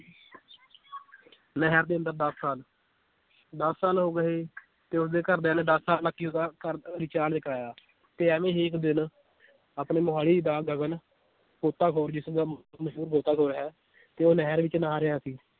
ਨਹਿਰ ਦੇ ਅੰਦਰ ਦਸ ਸਾਲ ਦਸ ਸਾਲ ਹੋ ਗਏ ਤੇ ਓਹਦੇ ਘਰਦਿਆਂ ਨੇ ਦਸ ਸਾਲ ਤੱਕ ਹੀ ਓਹਦਾ ਕਰ ਅਹ recharge ਕਰਾਇਆ ਤੇ ਐਵੀਂ ਹੀ ਇੱਕ ਦਿਨ ਆਪਣੇ ਮੋਹਾਲੀ ਦਾ ਗਗਨ ਗੋਤਾਖ਼ੋਰ ਜਿਸ ਦਾ ਮਸ਼ਹੂਰ ਗੋਤਾਖ਼ੋਰ ਹੈ ਤੇ ਉਹ ਨਹਿਰ ਵਿਚ ਨਹਾ ਰਿਹਾ ਸੀ